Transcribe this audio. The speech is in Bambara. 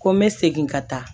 Ko n bɛ segin ka taa